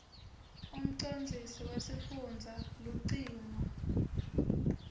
umcondzisi wesifundza lucingo